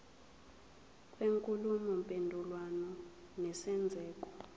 kwenkulumo mpendulwano nesenzeko